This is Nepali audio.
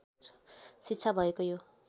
शिक्षा भएको यो